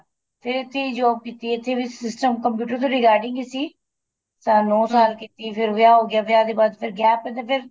ਫੇਰ ਇੱਥੇ ਈ job ਕੀਤੀ ਇੱਥੇ ਵੀ system computer ਦੇ regarding ਈ ਸੀ ਸਾਲ ਨੋ ਕੀਤੀ ਫੇਰ ਵਿਆਹ ਹੋ ਗਿਆ ਵਿਆਹ ਦੇ ਬਾਅਦ ਫੇਰ gap ਪੈ ਗਿਆ ਫੇਰ